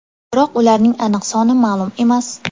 Biroq ularning aniq soni ma’lum emas.